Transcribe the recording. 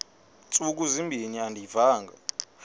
ntsuku zimbin andiyivanga